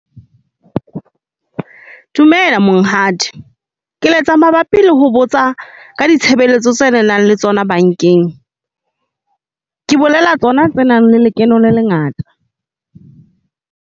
Dumela Monghadi ke letsa mabapi le ho botsa ka ditshebeletso tse nang le tsona bankeng. Ke bolela tsona tse nang le lekeno le lengata.